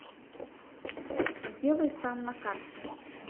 сделай сам на карте